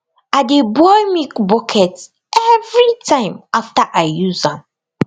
i dey boil milk bucket every time after i use am